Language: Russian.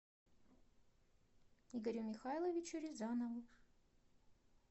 игорю михайловичу рязанову